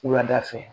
Wulada fɛ